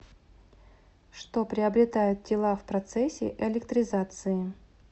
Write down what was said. что приобретают тела в процессе электризации